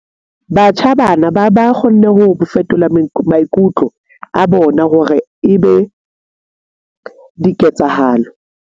Batjha bana ba kgonne ho fetola maikutlo a bona hore e be diketsahalo.